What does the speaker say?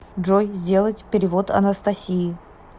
джой сделать перевод анастасии